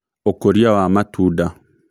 Ũkũria wa matunda